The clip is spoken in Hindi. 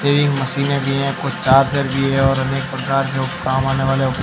ये मशीनें भी हैं कुछ चार्जर भी है और अनेक प्रकार के उप काम आने वाले उप--